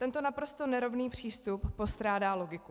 Tento naprosto nerovný přístup postrádá logiku.